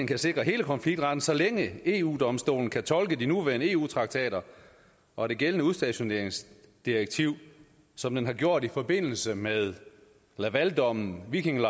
kan sikre hele konfliktretten så længe eu domstolen kan tolke de nuværende eu traktater og det gældende udstationeringsdirektiv som den har gjort i forbindelse med lavaldommen viking